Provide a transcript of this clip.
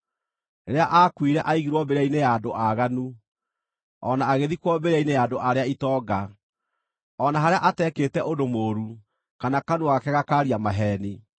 Rĩrĩa aakuire aigirwo mbĩrĩra-inĩ ya andũ aaganu, o na agĩthikwo mbĩrĩra-inĩ ya andũ arĩa itonga, o na harĩa atekĩte ũndũ mũũru, kana kanua gake gakaaria maheeni.